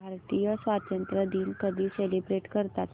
भारतीय स्वातंत्र्य दिन कधी सेलिब्रेट करतात